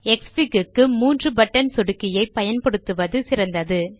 க்ஸ்ஃபிக் க்கு மூன்று பட்டன் சொடுக்கியை பயன்படுத்துவது சிறந்தது